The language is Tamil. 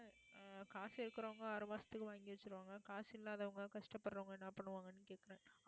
காசு இருக்கறவங்க ஆறு மாசத்துக்கு வாங்கி வச்சிருவாங்க காசு இல்லாதவங்க கஷ்டப்படறவங்க என்ன பண்ணுவாங்கன்னு கேக்கறேன்